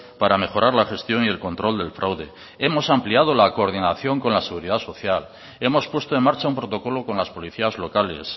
para mejorar la gestión y el control del fraude hemos ampliado la coordinación con la seguridad social hemos puesto en marcha un protocolo con las policías locales